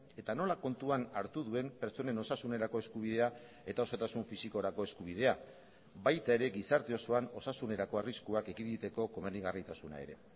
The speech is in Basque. eta nola kontuan hartu duen pertsonen osasunerako eskubidea eta osotasun fisikorako eskubidea baita ere gizarte osoan osasunerako arriskuak ekiditeko komenigarritasuna ere